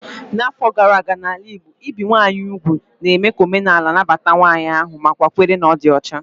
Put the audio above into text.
N'afọ gara aga n'ala Igbo, ibi ụmụ nwanyị úgwù na-eme ka omenaala na-anabata nwanyị ahu nakwa nkwere na ọ dị ọcha.